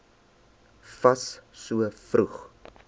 fas so vroeg